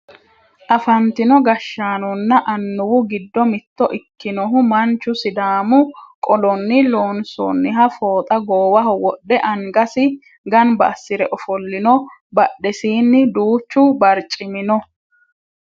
afantino gashshaanonna annuwu giddo mitto ikkinohu manchu sidaamu qolonni loonsoonniha fooxa goowaho wodhe angasi ganba assire ofollino badhesiinni duuchu barcimi no